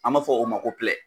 An b'a fɔ o ma ko